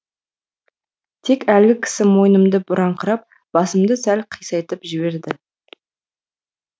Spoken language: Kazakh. тек әлгі кісі мойнымды бұраңқырап басымды сәл қисайтып жіберді